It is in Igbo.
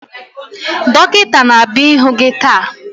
Dọkịta na-abịa ịhụ gị taa